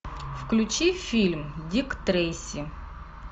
включи фильм дик трейси